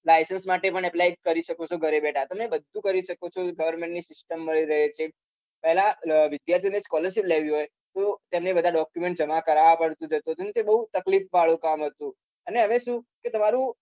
licence માટે પણ apply કરી શકો છો ઘરે બેઠા તમને બધું કરી શકો government ની system મળી રહે છે પેલા વિદ્યાર્થી scholarship લેવી હોય તો એમને બધા document જમા કારાવા પડે તે બઉ તકલીફ વાળું કામ હતું અને શાવે શું કે તમારું